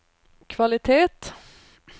kvalitet